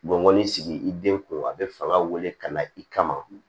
Bɔn ni sigi i den kun a bɛ fanga wele ka na i kama